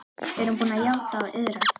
Er hún búin að játa og iðrast?